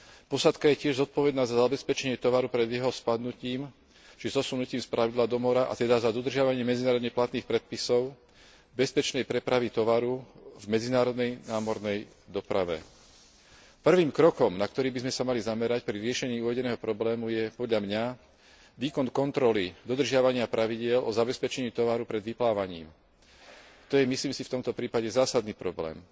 Posádka je tiež zodpovedná za zabezpečenie tovaru pred jeho spadnutím či zosunutím z plavidla do mora, a teda za dodržiavanie medzinárodne platných predpisov, bezpečnej prepravy tovaru v medzinárodnej námornej doprave. Prvým krokom, na ktorý by sme sa mali zamerať pri riešení uvedeného problému, je podľa mňa výkon kontroly dodržiavania pravidiel o zabezpečení tovaru pred vyplávaním. To je, myslím si, v tomto prípade zásadný problém.